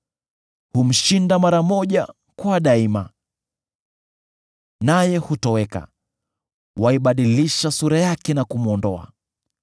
Humshinda mara moja kwa daima, naye hutoweka; waibadilisha sura yake na kumwondoa.